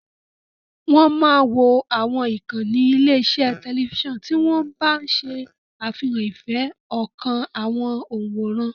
Wọ́n máa wo àwọn ìkànnì ilé-iṣẹ́ tẹlifíṣàn tí wọ́n bá ṣe àfihàn ìfẹ́ ọkàn àwọn òǹwòran.